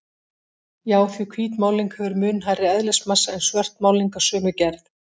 Já, því hvít málning hefur mun hærri eðlismassa en svört málning af sömu gerð.